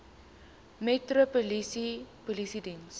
metropolitaanse polisie diens